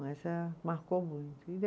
Mas eh, marcou muito e